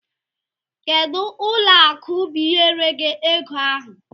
Kedu ụlọ akụ biyere gi ego ahụ?